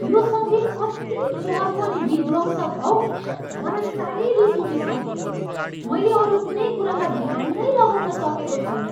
यो सङ्गीत कति चर्को अनि विध्वंसक हौ, मलाई साह्रै रिस उठिसक्यो। मैले अरू कुनै कुरामा ध्यान नै लगाउन सकेको छैन।